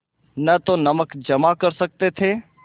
न तो नमक जमा कर सकते थे